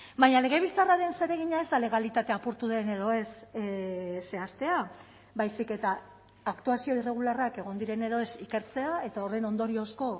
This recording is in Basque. baina legebiltzarraren zeregina ez da legalitatea apurtu den edo ez zehaztea baizik eta aktuazio irregularrak egon diren edo ez ikertzea eta horren ondoriozko